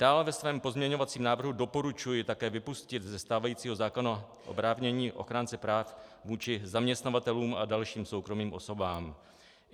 Dále ve svém pozměňovacím návrhu doporučuji také vypustit ze stávajícího zákona oprávnění ochránce práv vůči zaměstnavatelům a dalším soukromým osobám.